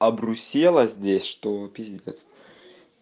обрусела здесь что пиздец